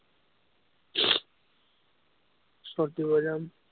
shot দিব যাম।